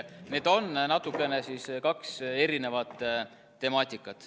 Need on natukene kaks erinevat temaatikat.